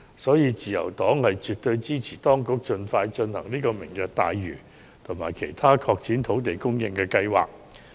因此，自由黨絕對支持政府當局盡快落實"明日大嶼願景"及其他拓展土地供應的計劃。